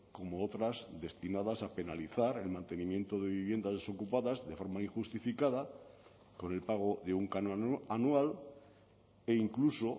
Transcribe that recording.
como otras destinadas a penalizar el mantenimiento de viviendas desocupadas de forma injustificada con el pago de un canon anual e incluso